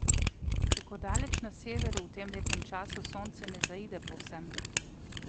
Tako daleč na severu v tem letnem času sonce ne zaide povsem.